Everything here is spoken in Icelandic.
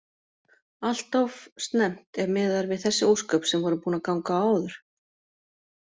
Alltof snemmt ef miðað er við þessi ósköp sem voru búin að ganga á áður.